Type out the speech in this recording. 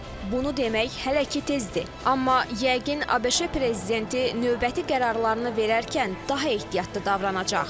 Bunu demək hələ ki tezdir, amma yəqin ABŞ prezidenti növbəti qərarlarını verərkən daha ehtiyatlı davranacaq.